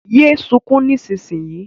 Yé sunkún nísinsìnyí!